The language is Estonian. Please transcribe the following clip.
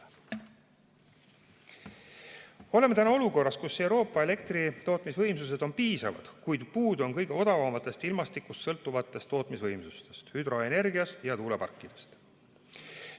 Me oleme olukorras, kus Euroopa elektritootmisvõimsused on piisavad, kuid puudu on kõige odavamatest, ilmastikust sõltuvatest tootmisvõimsustest: hüdroenergiast ja tuuleparkidest.